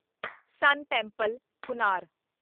ਸਨ temple, Konark